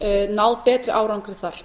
náð betri árangri þar